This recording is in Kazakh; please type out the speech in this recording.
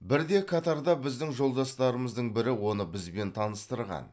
бірде катарда біздің жолдастарымыздың бірі оны бізбен таныстырған